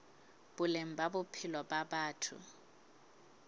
boleng ba bophelo ba batho